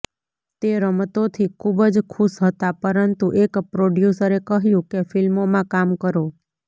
તે રમતોથી ખૂબ જ ખુશ હતા પરંતુ એક પ્રોડ્યૂસરે કહ્યુ કે ફિલ્મોમાં કામ કરો